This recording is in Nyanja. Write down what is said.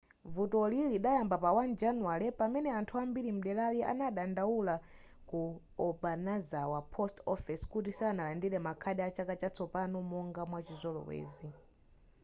vutoli lidayamba pa 1 januware pamene anthu ambiri mdelari anadandaula ku obanazawa post office kuti sanalandire ma card a chaka chatsopano monga mwa chizolowezi